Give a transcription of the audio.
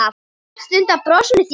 Mest undan brosinu þínu.